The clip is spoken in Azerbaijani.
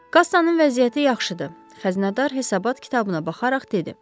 Kassanın vəziyyəti yaxşıdır, xəzinədar hesabat kitabına baxaraq dedi.